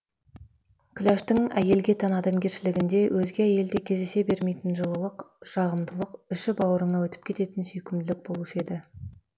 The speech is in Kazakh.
күләштің әйелге тән адамгершілігінде өзге әйелде кездесе бермейтін жылылық жағымдылық іші бауырыңа өтіп кететін сүйкімділік болушы еді